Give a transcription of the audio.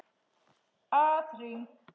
Að hring!